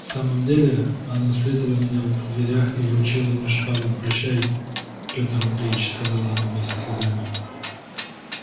в самом деле она встретила меня в дверях и вручила мне шпагу прощай пётр андреич сказала она мне со слезами